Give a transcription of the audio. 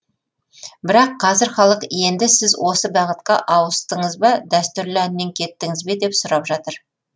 бірақ қазір халық енді сіз осы бағытқа ауыстыңыз ба дәстүрлі әннен кеттіңіз бе деп сұрап жатыр